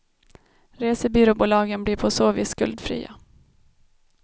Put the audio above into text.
Resebyråbolagen blir på så vis skuldfria.